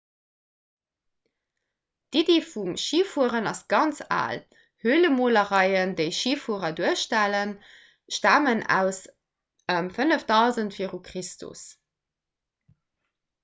d'iddi vum schifueren ass ganz al hölemolereien déi schifuerer duerstellen stamen aus ëm 5000 v chr